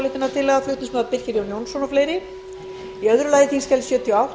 fyrir að þingfundir geti staðið fram á kvöld